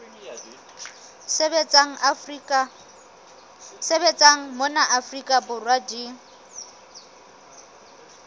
sebetsang mona afrika borwa di